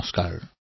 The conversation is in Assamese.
নমস্কাৰ